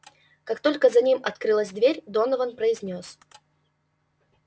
как только за ним открылась дверь донован произнёс